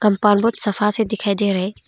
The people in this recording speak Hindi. पार्क बहोत सफा से दिखाई दे रहे--